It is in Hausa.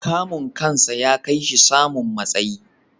Kamun kansa ya kai shi da samun matsayi.